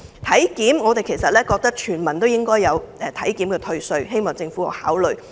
體檢方面，我們認為全民都應該有體檢退稅，希望政府可以考慮。